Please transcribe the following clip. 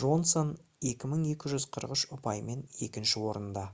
джонсон 2243 ұпаймен екінші орында